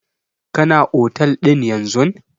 Kana otel ɗin yanzun?